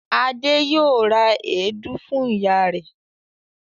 Adé yóò ra èédú fún ìyá rẹ̀.